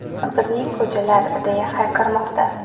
Bizning ko‘chalar!”, deya hayqirmoqda.